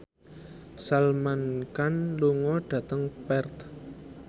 Salman Khan lunga dhateng Perth